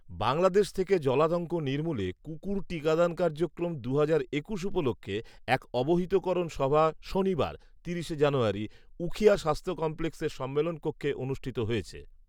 বাংলাদেশ থেকে জলাতঙ্ক নির্মূলে কুকুর টিকাদান কার্যক্রম দুহাজার একুশ উপলক্ষে এক অবহিতকরণ সভা শনিবার তিরিশে জানুয়ারি. উখিয়া স্বাস্থ্য কমপ্লেক্সের সম্মেলন কক্ষে অনুষ্ঠিত হয়েছে